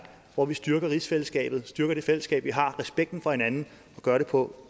hvor vi styrker rigsfællesskabet styrke det fællesskab vi har respekten for hinanden og gør det på